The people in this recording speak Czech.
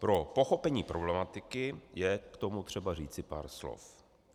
Pro pochopení problematiky je k tomu třeba říci pár slov.